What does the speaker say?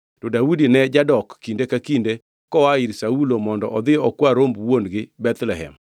to Daudi ne jadok kinde ka kinde koa ir Saulo mondo odhi okwa romb wuon-gi Bethlehem.